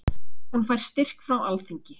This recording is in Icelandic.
Hún fær styrk frá alþingi.